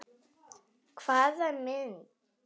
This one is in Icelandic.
Hvaða mynd?